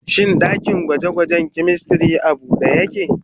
Shin dakin gwaje-gwajen chemistry a bude yake?